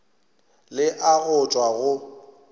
le a go tšwa go